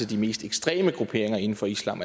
de mest ekstreme grupperinger inden for islam